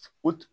O